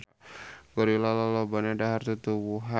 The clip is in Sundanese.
Gorila lolobana dahar tutuwuhan.